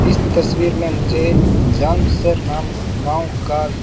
इस तस्वीर में मुझे जामसर नाम गांव का--